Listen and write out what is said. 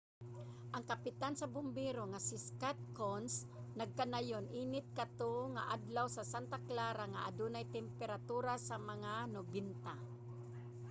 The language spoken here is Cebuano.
ang kapitan sa bumbero nga si scott kouns nagkanayon init kato nga adlaw sa santa clara nga adunay temperatura sa mga 90